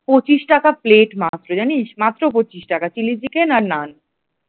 পঁচিশ টাকা প্লেট মাত্র জানিস্? মাত্র পঁচিশ টাকা চিলি চিকেন আর নান ।